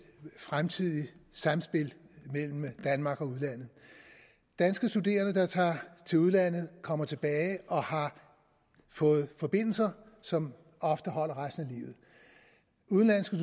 fremtidigt samspil mellem danmark og udlandet danske studerende der tager til udlandet kommer tilbage og har fået forbindelser som ofte holder resten af livet udenlandske